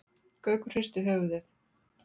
Gaukur hristi höfuðið.